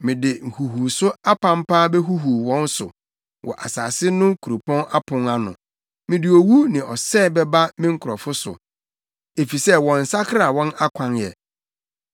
Mede nhuhuwso apampaa behuhuw wɔn so wɔ asase no kuropɔn apon ano. Mede owu ne ɔsɛe bɛba me nkurɔfo so, efisɛ wɔnsakraa wɔn akwan ɛ.